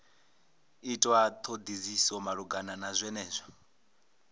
itwa thodisiso malugana na zwenezwo